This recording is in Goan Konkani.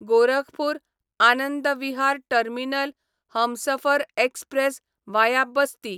Gorakhpur Anand Vihar terminal Humsafar express via Basti